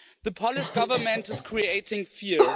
The Polish government is creating fear.